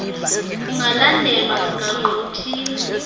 kungalandelwa mgaqo uthile